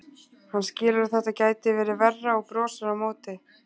Hann skilur að þetta gæti verið verra og brosir á móti.